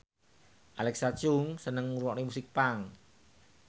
Alexa Chung seneng ngrungokne musik punk